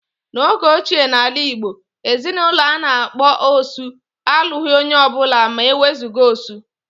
N'oge ochie n'ala Igbo, ezinaụlọ a na-akpọ "osu" alụghị onye ọbụla ma ewezuga "osu"